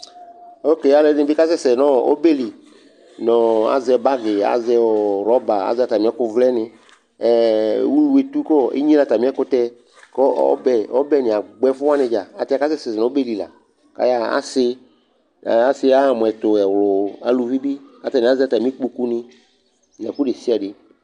Oke alʋɛdɩnɩ bɩ kasɛsɛ nʋ ɔ ɔbɛ li nʋ ɔ azɛ bagɩ, azɛ rɔba, azɛ atamɩ ɛkʋvlɛnɩ ɛ ɛ ulu etu kʋ ɔ enyilǝ atamɩ ɛkʋtɛ kʋ ɔbɛ ɔbɛnɩ agbɔ ɛfʋ wanɩ dza ayɛlʋtɛ akasɛsɛ nʋ ɔbɛ li la kʋ ayaɣa Asɩ, ɛ asɩ aɣa mʋ ɛtʋ mʋ ɛvlʋ Aluvi bɩ, atanɩ azɛ atamɩ kpokunɩ nʋ ɛkʋ desɩade